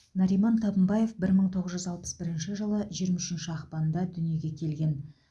нариман табынбаев бір мың тоғыз жүз алпыс бірінші жылы жиырма үшінші ақпанда дүниеге келген